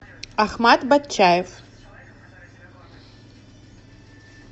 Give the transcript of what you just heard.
ахмат батчаев